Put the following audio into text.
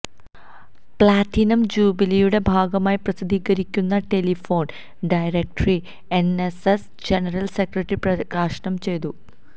platinum ജൂബിലിയുടെ ഭാഗമായി പ്രസിദ്ധീകരിക്കുന്ന telephone directory NSS general secretary പ്രകാശനം ചെയ്തു